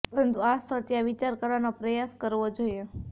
પરંતુ આ સ્થળ ત્યાં વિચાર કરવાનો પ્રયાસ કરવો જોઈએ